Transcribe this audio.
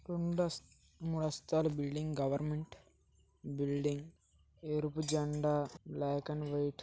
రెండు అంత మూడు అంతస్తుల బిల్డింగ్ గవెర్నమెంట్ బిల్డింగ్ ఎరుపు జెండా బ్లాక్ అండ్ వైట్--